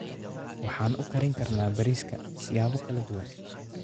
Waxaan u karin karnaa bariiska siyaabo kala duwan.